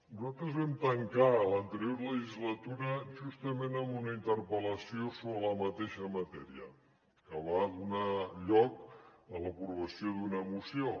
nosaltres vam tancar l’anterior legislatura justament amb una interpel·lació sobre la mateixa matèria que va donar lloc a l’aprovació d’una moció